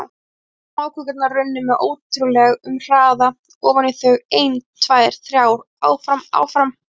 Litlar smákökurnar runnu með ótrúleg- um hraða ofan í þau, ein, tvær, þrjár- áfram- áfram.